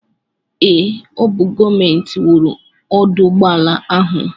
Ee, ọ bụ gọọmenti wuru ọdụụgbọala ahụ.